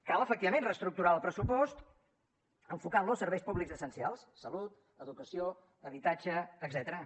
cal efectivament reestructurar el pressupost enfocant lo a serveis públics essencials salut educació habitatge etcètera